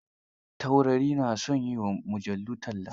Taurari na son yi wa mujallu talla.